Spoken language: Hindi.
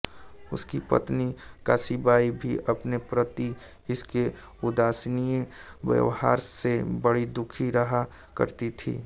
उसकी पत्नी काशीबाई भी अपने प्रति उसके उदासीन व्यवहार से बड़ी दुखी रहा करती थी